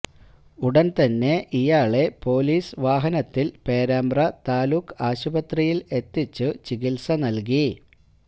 ഉടന് തന്നെ ഇയാളെ പൊലിസ് വാഹനത്തില് പേരാമ്പ്ര താലൂക്ക് ആശുപത്രിയില് എത്തിച്ചു ചികിത്സ നല്കി